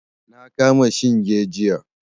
Na kama shinge jiya.